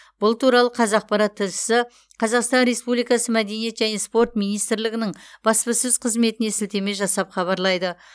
бұл туралы қазақпарат тілшісі қазақстан республикасы мәдениет және спорт министрлігінің баспасөз қызметіне сілтеме жасап хабарлайды